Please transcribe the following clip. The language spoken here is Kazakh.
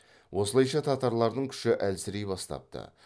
осылайша татарлардың күші әлсірей бастапты